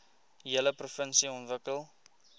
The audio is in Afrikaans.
hele provinsie ontwikkel